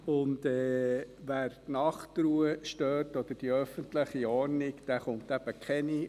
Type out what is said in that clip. Und wer die Nachtruhe oder die öffentliche Ordnung stört, erhält eben keine.